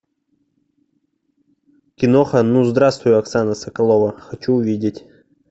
киноха ну здравствуй оксана соколова хочу увидеть